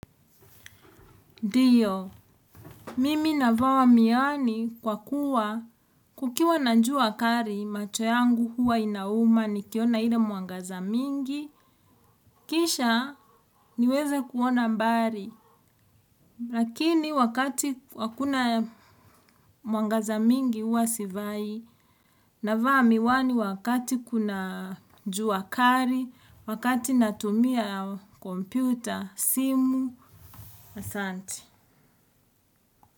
Ndio, mimi navaa miwani kwa kuwa kukiwa na jua kali macho yangu huwa inauma nikiona ile mwangaza mingi, kisha niweze kuona mbali. Lakini wakati hakuna mwangaza mingi huwa sivai, navaa miwani wakati kuna jua kali, wakati natumia kompyuta, simu, asanti.